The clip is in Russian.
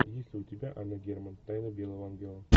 есть ли у тебя анна герман тайна белого ангела